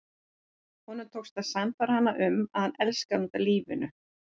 Honum tókst að sannfæra hana um að hann elskaði hana út af lífinu.